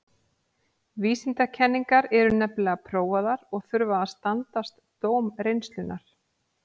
Vísindakenningar eru nefnilega prófaðar og þurfa að standast dóm reynslunnar.